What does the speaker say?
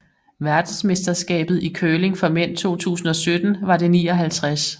Verdensmesterskabet i curling for mænd 2017 var det 59